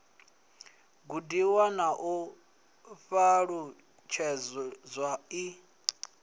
gudiwa na u ṱalutshedzwa i